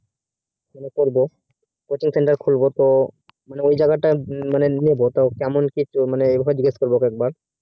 তাহলে করবো coaching center খুলবো তো ওই জাগা তা নেবো মানে কেমন কি মানে এসব জিজ্ঞেস করবো একবার